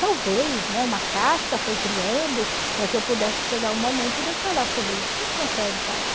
Talvez, né, uma casca foi criando para que eu pudesse chegar o momento de eu falar sobre isso, porque não consegue falar.